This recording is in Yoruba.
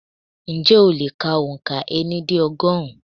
Ǹjẹ́ o lè kà òǹkà ení dé ọgọ́rùn-ún?